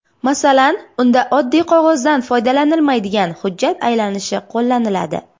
Masalan, unda oddiy qog‘ozdan foydalanilmaydigan hujjat aylanishi qo‘llaniladi.